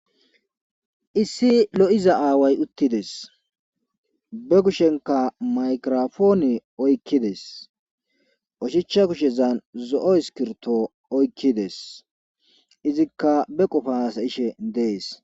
issi lo7iza aaway uttides be kushenka maykirofooni oykkides oshicha kushezan zo7o iskirto oykkides izikka be qofa haasayishe dees